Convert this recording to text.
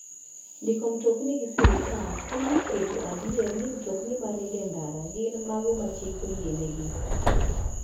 Ndiko mtokni gi sirkal konyo e keto adier ni mtokni maringo e ndara gin mago ma chik oyienegi.